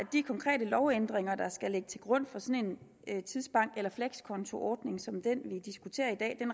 de konkrete lovændringer der skal ligge til grund for sådan en tidsbank eller flekskontoordning som den vi diskuterer i dag